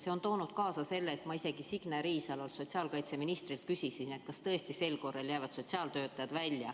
See on kaasa toonud selle, et ma küsisin Signe Riisalolt, sotsiaalkaitseministrilt, kas tõesti jäävad sel korral sotsiaaltöötajad välja.